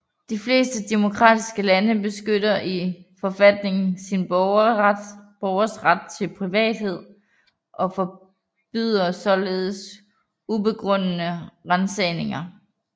De fleste demokratiske lande beskytter i forfatningen sin borgeres ret til privathed og forbyder således ubegrundede ransagninger